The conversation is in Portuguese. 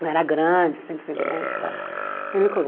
Eu era grande, sempre fui grande e tal. Ele me